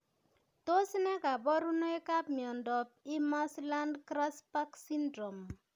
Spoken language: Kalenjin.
Tos ne kaborunoikab miondop Imerslund Grasbeck syndrome?